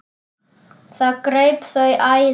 Það greip þau æði.